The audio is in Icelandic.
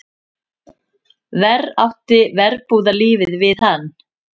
Verr átti verbúðarlífið við hann.